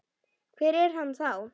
Hver er hann þá?